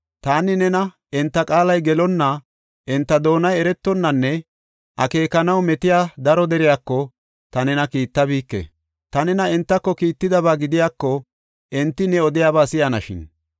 Taani nena enta qaalay gelonna, enta doonay eretonnanne akeekanaw metiya daro deriyako ta nena kiittabike. Ta nena entako kiittidaba gidiyako, enti ne odiyaba si7anashin.